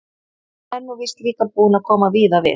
Og hann er nú víst líka búinn að koma víða við.